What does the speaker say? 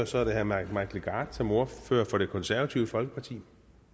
så er det herre mike legarth som ordfører for det konservative folkeparti